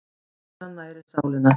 Náttúran nærir sálina